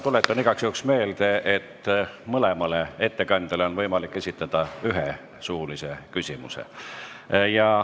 Tuletan igaks juhuks meelde, et mõlemale ettekandjale on võimalik esitada üks suuline küsimus.